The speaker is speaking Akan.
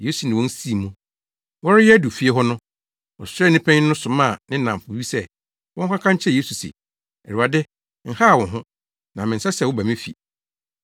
Yesu ne wɔn sii mu. Wɔreyɛ adu fie hɔ no, ɔsraani panyin no somaa ne nnamfo bi sɛ, wɔnkɔka nkyerɛ Yesu se, “Awurade, nhaw wo ho, na mensɛ sɛ woba me fi.